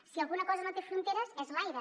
si alguna cosa no té fronteres és l’aire